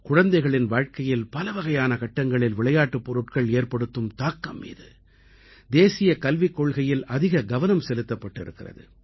குழந்தைகளின் வாழ்க்கையில் பலவகையான கட்டங்களில் விளையாட்டுப் பொருட்கள் ஏற்படுத்தும் தாக்கம் மீது தேசிய கல்விக் கொள்கையில் அதிக கவனம் செலுத்தப்பட்டு இருக்கிறது